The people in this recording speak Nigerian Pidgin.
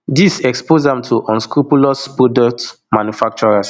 dis expose am to unscrupulous product manufacturers